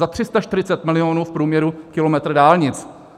Za 340 milionů v průměru kilometr dálnic.